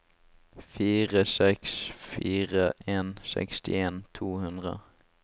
fire seks fire en sekstien to hundre